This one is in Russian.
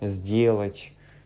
сделать